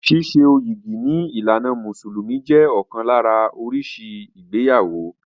Síso yìgì ní ìlànà mùsùlùmí jẹ́ ọ̀kan lára oríṣi ìgbéyàwó.